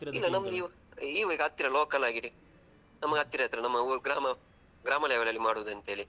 ಇಲ್ಲ ನಮ್ಗೆ ಈಗ ಈ ಹತ್ತಿರ local ಆಗೇನೆ ನಮ್ಗೆ ಹತ್ತಿರ ಹತ್ತಿರ ನಮ್ಮ ಊರು ಗ್ರಾಮ ಗ್ರಾಮ level ಅಲ್ಲಿ ಮಾಡುದಂತೇಳಿ.